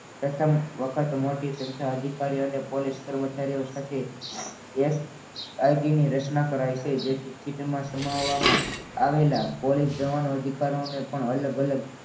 પ્રથમ વખત મોટી સંખ્યા અધિકારીઓને પોલીસ કર્મચારીઓ સાથે એસ આઇટીની રચના કરે છે. જેથી સીટમાં સમાવવામાં આવેલા પોલીસ જવાનું અધિકારોને પણ અલગ અલગ